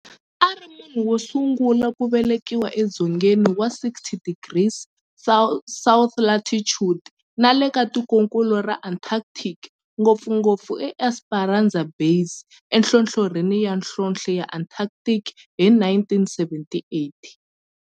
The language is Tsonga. A ri munhu wosungula ku velekiwa e dzongeni wa 60 degrees south latitude nale ka tikonkulu ra Antarctic, ngopfungopfu eEsperanza Base enhlohlorhini ya nhlonhle ya Antarctic hi 1978.